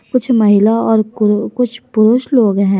कुछ महिला और कुरु कुछ पुरुष लोग हैं।